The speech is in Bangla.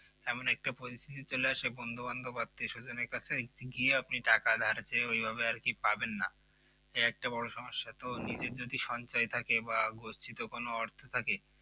এমন একটা Position চলে আসে, বন্ধুবান্ধব আত্মীয়-স্বজনের কাছে গিয়েআপনি টাকা ধার চেয়ে ওইভাবে আর কি পাবেন না সে একটা বড় সমস্যা তো নিজে যদি সঞ্জয় থাকে বা গচ্ছিত কোন অর্থ থাকে